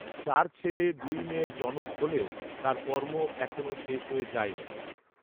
চার ছেলে দুই মেয়ের জনক হলেও তার কর্ম এখনও শেষ হয়ে যায়নি